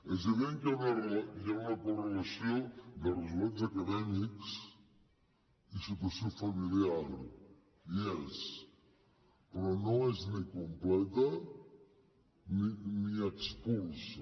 és evident que hi ha una correlació de resultats acadèmics i situació familiar hi és però no és ni completa ni expulsa